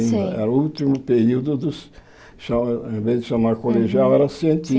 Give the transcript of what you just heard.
Sim Era o último período, do cha ao invés de chamar colegial, era